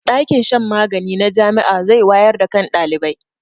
ɗakin shan magani na Jami'a zai wayar da kan ɗalibai